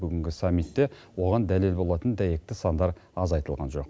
бүгінгі саммитте оған дәлел болатын дәйекті сандар аз айтылған жоқ